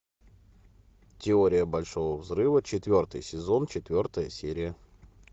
теория большого взрыва четвертый сезон четвертая серия